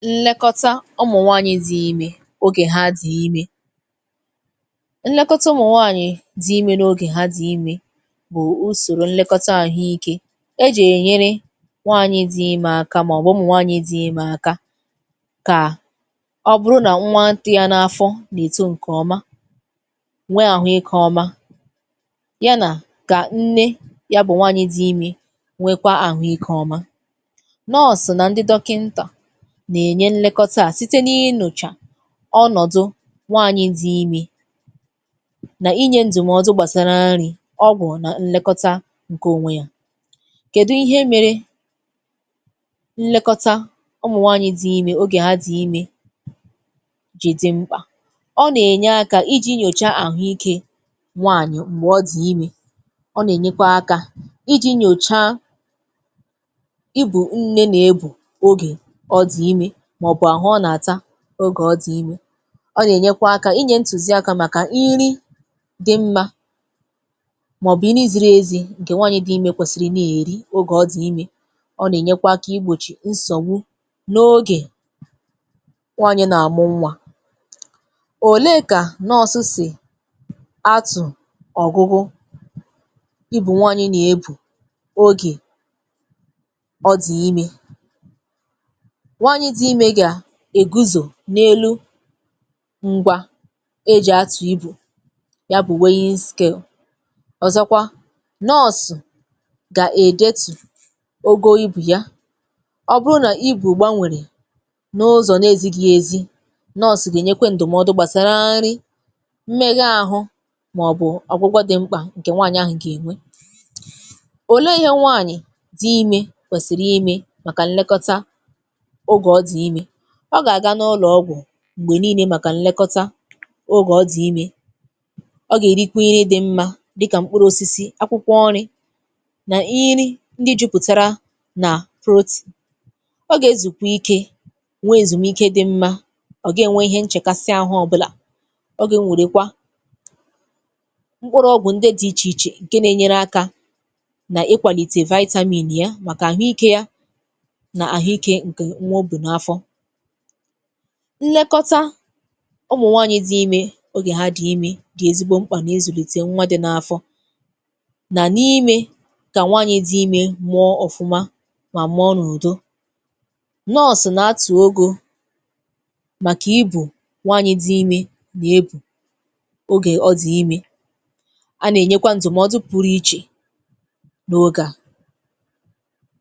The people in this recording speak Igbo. Nlekọta ụmụ̀nwaànyị dị ime ogè ha dị ime. Nlekọta ụmụ̀nwaànyị dị ime n’oge ha dị ime bụ̀ usòrò nlekọta àhụ ike e ji ènyere nwaànyị dị ime aka màọbụ̀ ụmụnwaànyị dị imė aka kà ọ bụrụ nà nwa dị ya n’afọ nà-èto ǹkèọma, nwe àhụ ike ọma, ya nà kà nne ya bụ̀ nwaànyị dị ime nwekwaa àhụ ike ọma. Nọọsù na ndị dọkịntà na-enye nlekọta a síté na-ịnyocha ọnọ̀dụ nwaanyị̇ dị̀ ime nà inye ǹdụ̀mọdụ gbàsara nri̇ ọgwụ̀ nà ǹlekọta ǹkẹ̀ ònwe ya. Kèdu ihe mere nlekọta ụmụ̀nwaanyị̇ dị̀ ime ogè ha dị̀ ime jì dị mkpà? Ọ nà ènye aka iji̇ nyòcha àhụike nwaanyị̀ m̀gbè ọ dị̀ ime, ọ nà ènyekwa aka iji̇ nyòcha ogè ịbu nne na-ebu oge ọ dị̀ ime, maọbụ ahụ ọ nà-àta oge ọ dị ime. Ọ nà-ènyekwa aka inye ntùzi aka màkà nri dị̇ mma màọbụ nà nri ziri ezi̇ ǹkè nwànyị̀ dị̀ ime kwèsìrì ị nà-èri ogè ọdị̀ ime. Ọ nà-ènyekwa kà igbòchì nsọ̀gbu n’ogè nwàanyị̀ nà-àmụ nwa. Òle kà nọọ̀sụ̇ sì atụ̀ ọ̀gụgụ ịbù nwanyị̇ nà-ebù ogè ọdị̀ ime? Nwaànyị dị ime ga-eguzo n'elu ǹgwà e ji atụ̀ ịbù ya bụ̀ weghịskelu. Ọzọ̀kwa nọọ̇sụ gà-èdetù ogo ịbù ya, ọ bụrụ nà ịbù gbànwèrè n’ụzọ̀ nà ezighi ezi nọọ̇sụ gà-enyekwe ǹdụ̀mọdụ gbàsara nri, mmegha ahụ màọbụ̇ ọ̀gwụgwọ dị mkpà ǹkè nwanyì ahụ̀ gà-enwe. Òlee ihe nwanyì dị ime kwèsìrì ime màkà nlekọta oge ọ dị ime? Ọ gà-àga n’ụlọ̀ ọgwụ̀ m̀gbè niile màkà nlekọta ogè ọ dị ime, ọ gà-èrikwa ihe dị mma dịkà m̀kpụrụ osisi, akwụkwọ nrị̇ nà nri ǹdị juputara nà protein. Ọ gà-ezùkwà ike nwee èzùmike dị mma, ọ gàghi enwe ihe nchèkasi ahụ ọbụlà. Ọ gà-ewèrèkwa mkpụrụ ọgwụ̀ ǹdị dị ichè ichè ǹkè nà-enyere aka nà ịkwàlìtè vitamin yà màkà ahụ ike ya nà ahụ ike ǹkè nwa o bù n’afọ. Nlekọta ụmụ̀nwanyị̇ dị ime oge ha dị̀ ime dị̀ ezigbo mkpà nà ịzùlìtè nwa dị̇ n’afọ. Na n’ime gà nwaanyị dị ime mụọ ọ̀fụma mà mụọ n’ùdo. Nọọ̀sù nà atụ̀ og màkà ịbù nwaànyị dị ime nà-ebu ogè ọ dị̀ ime. A nà-ènyekwa ǹdụ̀mọdụ pụrụ ichè n’oge a.